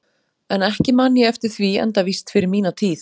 En ekki man ég eftir því enda víst fyrir mína tíð.